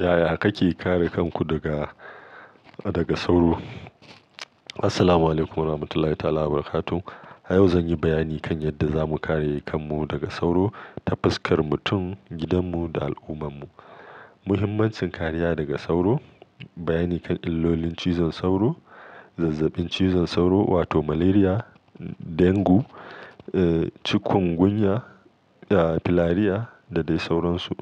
Yaya kake kare kanku daga, daga sauro? Assalamualaikum warahmatullahi wabarakatuh. A yau zan yi bayani kan yadda zamu kare kanmu daga sauro, tafiskar mutum, gidanmu da al'ummar mu. Muhimmancin kariya daga sauro, bayani kan illolin cizon sauro, zazzabin cizon sauro wato Malaria, Dengue, eh Chikungunya, eh Filari da dai sauransu.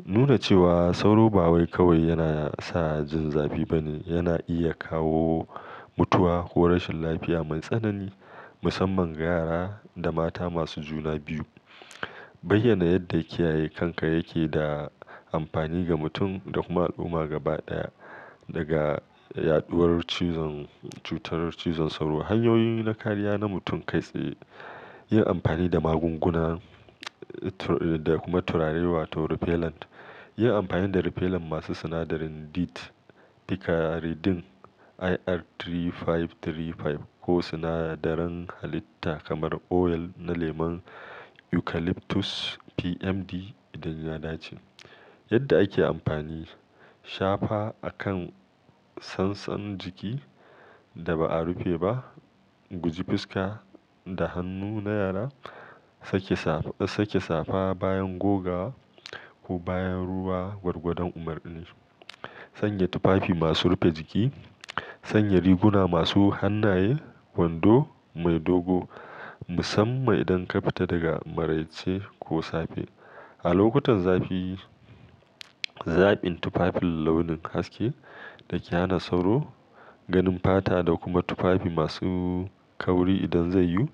Duda cewa sauro ba wai kawai yana sa jin zafi bane, yana iya kawo mutuwa ko rashin lafiya mai tsanani musamman ga yara da mata masu juna biyu. Bayyana yadda kiyaye kanka yake da amfani ga mutum da kuma al'umma gaba ɗaya daga yaɗuwar cizon-- cutar cizon sauro. Hanyoyi na kariya na mutum kai tsaye, yin amfani da magunguna da kuma turare wato repellent. Yin amfani da repellent masu sinadarin DEET, Picaridin, IR3535 ko sinadaran halitta kamar oil na lemon Eucalyptus PMD idan yana daci. Yadda ake amfani, shafa a kan sansan jiki da ba'a rufe ba, guji fuska da hannu na yara, sake safa bayan goga ko bayan ruwa gwargwadon umarni. Sanya tufafi masu rufe jiki, sanya riguna masu hannaye, wando mai dogo musamman idan ka fita daga maraice ko safe. A lokutan zafi, zaɓin tufafin launin haske da ke hana sauro, ganin fata da kuma tufafi masu kauri idan zai yiwu.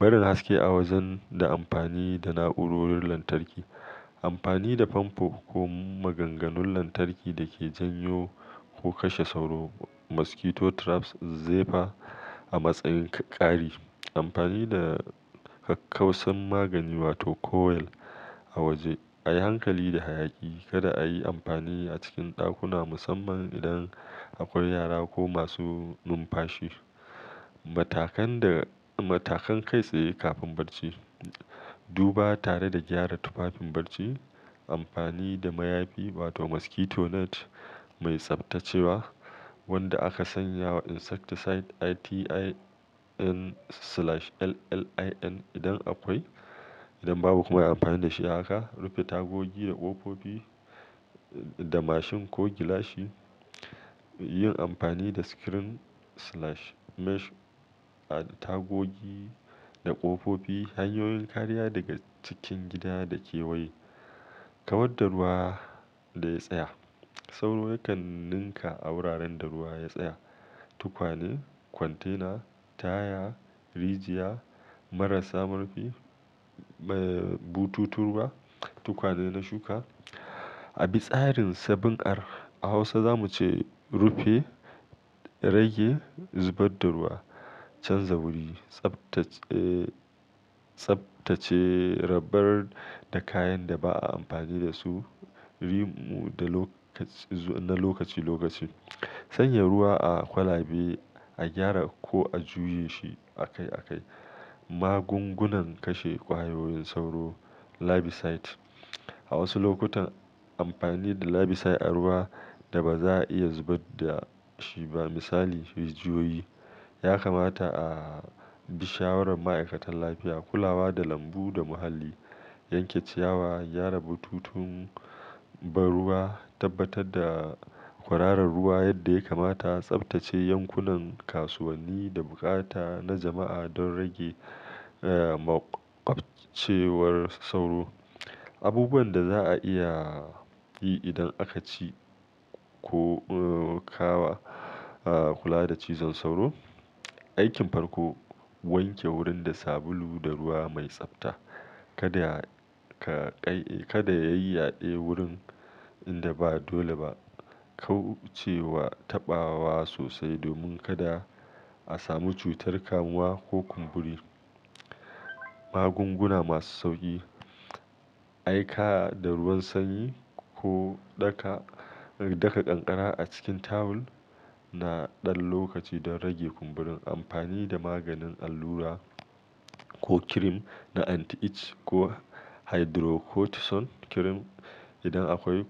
Barin haske a wajen da amfani da na'urorin lantarki. Amfani da fanfo ko maganganun lantarki da ke janyo ko kashe sauro Mosquito traps zefa a matsayin ƙari. Amfani da kakkausan magani wato coil a waje, a yi hankali da hayaki kada a yi amfani a cikin ɗakuna musamman idan akwai yara ko masu numfashi. Matakan da-- matakan kai tsaye kafin barci, duba tare da gyara tufafin barci, amfani da mayafi wato mosquito net mai tsabtacewa wanda aka sanya wa insecticide ITN/LLIN idan akwai. Idan babu kuma yi amfani da shi haka. Rufe tagogi da ƙofofi da mashin ko gilashi. Yin amfani da screen/mesh a tagogi da ƙofofi. Hanyoyin kariya daga cikin gida da kewaye, kawar da ruwa da ya tsaya. Sauro yakan ninka a wuraren da ruwa ya tsaya. Tukwane, container, taya, rijiya, marasa murfi, eh, bututun ruwa, tukwane na shuka. A bi tsarin 7R. A Hausa zamu ce rufe, rage, zubar da ruwa, canza wuri, tsabtace, eh, tsabtace rabar da kayan da ba'a amfani da su, rimu da lokaci-- na lokaci lokaci. Sanya ruwa a kwalabe, a gyara ko a juye shi akai akai. Magungunan kashe ƙwayoyin sauro, larvicides. A wasu lokutan amfani da larvicides a ruwa da ba za'a iya zubar da shi ba misali rijiyoyi, ya kamata a bi shawarar ma'aikatan lafiya. Kulawa da lambu da muhalli, yanke ciyawa, gyara bututun ban ruwa, tabbatar da kwararan ruwa yadda ya kamata, tsabtace yankunan kasuwanni da bukata na jama'a don rage, eh, maƙwabcewar sauro. Abubuwan da za'a iya yi idan aka ci ko, eh, kawa, eh, kula da cizon sauro, aikin farko wanke wurin da sabulu da ruwa mai tsabta. Kada ka ƙai-- kada ya yi yaɗe wurin inda ba dole ba. Kauce wa taɓawa sosai domin kada a samu cutar kamuwa ko kumburi. Magunguna masu sauƙi, aika da ruwan sanyi ko daka, daka kankara a cikin tawul na ɗan lokaci don rage kumburin. Amfani da maganin allura ko kirim na anti-itch ko Hydrocortisone kirim idan akwai.